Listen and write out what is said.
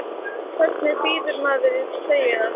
Hvernig býður maður í treyjuna?